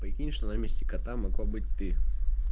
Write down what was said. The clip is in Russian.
прикинь что на месте кота могла быть ты